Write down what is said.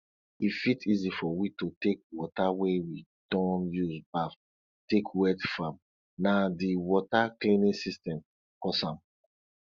e fit easy for we to take water wey we don use baff take wet farm na di water cleaning system cause am